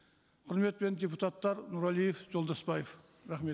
құрметпен депуттатар нұрәлиев жолдасбаев рахмет